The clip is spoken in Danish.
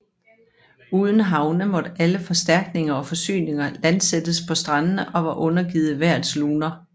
Uden havne måtte alle forstærkninger og forsyninger landsættes på strandene og var undergivet vejrets luner